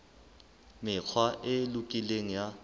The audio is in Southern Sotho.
mekgwa e lokileng ya ho